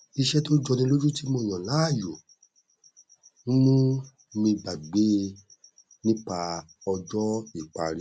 iṣẹ tó jọni lójú ti mo yàn láàyò n mú mi gbàgbé nípa ọjọ ìparí